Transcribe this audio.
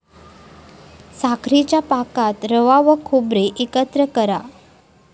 साखरेच्या पाकात रवा व खोबरे एकत्र करा.